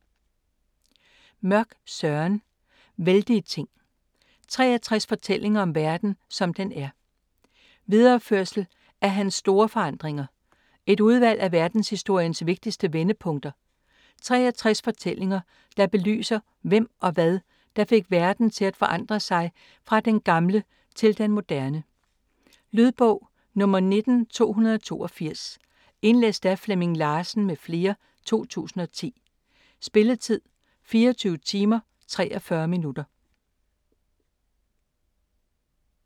Mørch, Søren: Vældige ting: 63 fortællinger om verden, som den er Videreførsel af hans Store forandringer. Et udvalg af verdenshistoriens vigtigste vendepunkter. 63 fortællinger der belyser hvem og hvad der fik verden til at forandre sig fra den gamle til den moderne. Lydbog 19282 Indlæst af Flemming Larsen m.fl., 2010. Spilletid: 24 timer, 43 minutter.